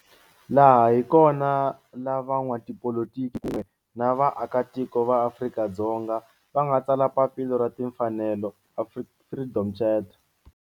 Laha hi kona la van'watipolitiki kun'we ni vaaka tiko va Afrika-Dzonga va nga tsala papila ra timfanelo, Freedom Charter.